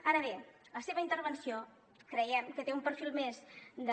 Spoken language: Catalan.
ara bé la seva intervenció creiem que té un perfil més de